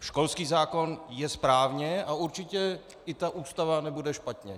Školský zákon je správně a určitě i ta Ústava nebude špatně.